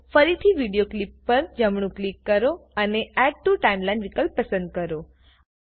તો ફરીથી video clip પર જમણું ક્લિક કરો અને એડ ટીઓ ટાઇમલાઇનના વિકલ્પ પસંદ કરો